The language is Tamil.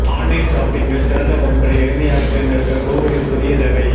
ஆன்லைன் ஷாப்பிங்கில் சிறந்த பொருட்களை எளிமையாக தேர்ந்தெடுக்க கூகுளின் புதிய சேவை